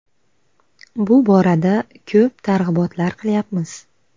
Bu borada ko‘p targ‘ibotlar qilyapmiz.